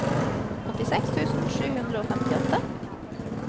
åttiseks tusen sju hundre og femtiåtte